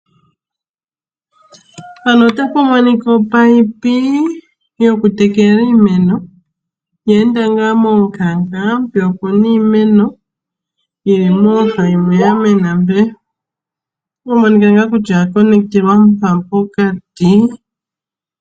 Mpano ota pumonika opayipi yokutekela iimeno, oye enda momukanka. Mpeya opuna iimeno yili mooha yimwe yamena mpee, ota pumonika ngaa kutya oya pangelelwa pokati.